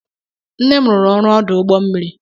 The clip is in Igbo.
Nne m rụrụ ọrụ ọdụ ụgbọ mmiri.